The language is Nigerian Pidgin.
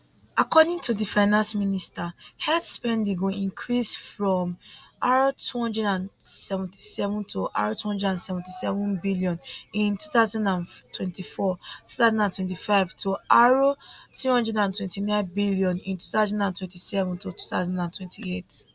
according to di finance minister health spending go increase from r277 r277 billion in 20242025 to r329 billion in 20272028